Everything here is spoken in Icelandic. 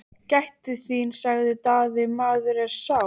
Gættu þín, sagði Daði,-maðurinn er sár!